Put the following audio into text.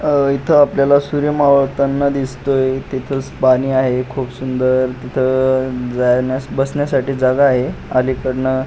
अह इथ आपल्याला सूर्य मावळताना दिसतोय तिथ पाणी आहे खुप सुंदर तिथ जाण्यास बसण्यासाठी जाग आहे अलिकडन --